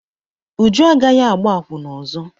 Uju agaghị agbá akwụna ọzọ.